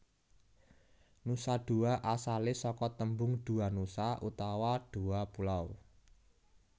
Nusa Dua asalé saka tembung Dua Nusa utawa dua pulau